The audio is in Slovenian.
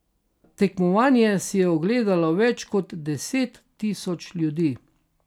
Tekmovanje si je ogledalo več kot deset tisoč ljudi.